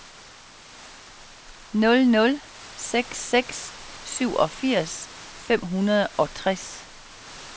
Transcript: nul nul seks seks syvogfirs fem hundrede og toogtres